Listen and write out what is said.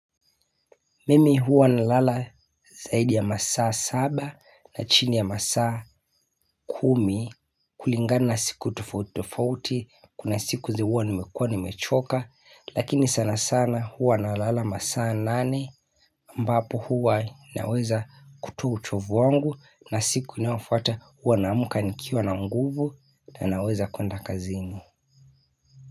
Mimi hua nalala zaidi ya masaa saba na chini ya masaa kumi kulingana siku tofaut tofauti kuna siku ze huwa nimekua nimechoka Lakini sana sana huwa nalala masaa nane mbapo huwa naweza kutoa uchovu wangu na siku inaofuata huwa naamka nikiwa na nguvu ndo naweza kuenda kazini.